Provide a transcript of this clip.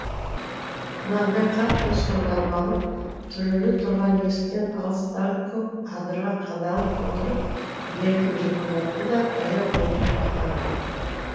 құнанбай қатты сұрланып алып түрулі тұрған есіктен алыстағы көк адырға қадалып отырып ернін жыбырлатты да баяу ғана бата қылды